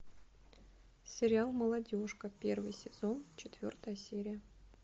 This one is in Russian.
сериал молодежка первый сезон четвертая серия